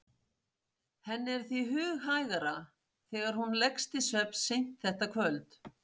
Henni er því hughægra þegar hún leggst til svefns seint þetta kvöld